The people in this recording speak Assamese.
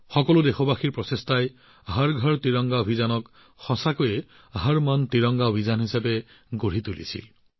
সকলো দেশবাসীৰ প্ৰচেষ্টাই হৰ ঘৰ ত্ৰিৰংগা অভিযানক প্ৰকৃততে হৰ মন ত্ৰিৰংগা অভিযান কৰি তুলিলে